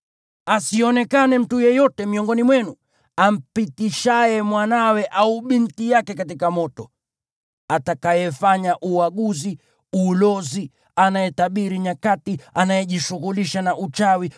Asionekane mtu yeyote miongoni mwenu ampitishaye mwanawe au binti yake katika moto, atakayefanya uaguzi, ulozi, anayetabiri nyakati, anayejishughulisha na uchawi,